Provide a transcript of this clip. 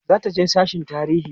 zataje sasshen tarihi